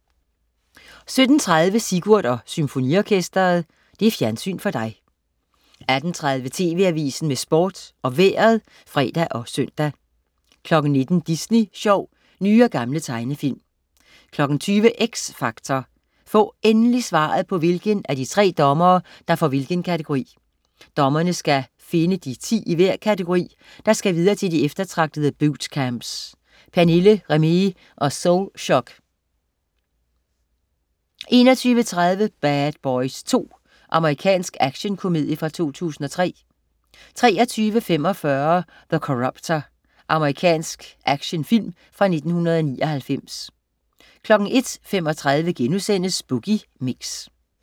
17.30 Sigurd og Symfoniorkestret. Fjernsyn for dig 18.30 TV Avisen med Sport og Vejret (fre og søn) 19.00 Disney sjov. Nye og gamle tegnefilm 20.00 X Factor. Få endelig svaret på, hvilken af de tre dommere der får hvilken kategori. Dommerne skal finde de 10 i hver kategori, der skal videre til de eftertragtede bootcamps. Pernille, Remee og Soulshock 21.30 Bad Boys II. Amerikansk actionkomedie fra 2003 23.45 The Corruptor. Amerikansk actionfilm fra 1999 01.35 Boogie Mix*